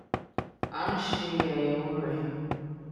à ń ṣe àyèwò rè